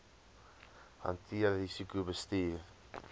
hanteer risiko bestuur